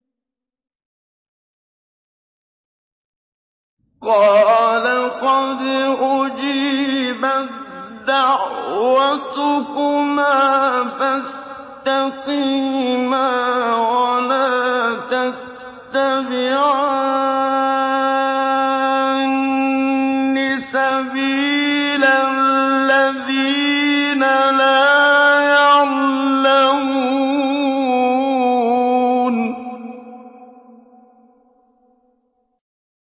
قَالَ قَدْ أُجِيبَت دَّعْوَتُكُمَا فَاسْتَقِيمَا وَلَا تَتَّبِعَانِّ سَبِيلَ الَّذِينَ لَا يَعْلَمُونَ